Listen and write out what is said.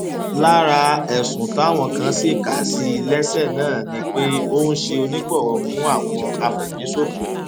lára ẹsùn táwọn kan sì kà sí i lẹsẹ náà ni pé ó ń ṣe onígbọwọ fún àwọn afẹmíṣòfò